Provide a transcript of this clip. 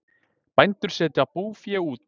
Bændur setji búfé út